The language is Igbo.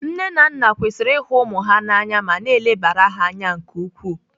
Nne na nna kwesịrị ihu ụmụ ha na anya ma na-elebara ha anya nke ukwuu.